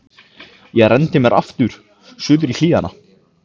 Ég renndi mér aftur suður í hlíðina.